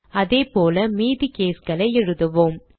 அதேபோல மீதி caseகளை எழுதுவோம்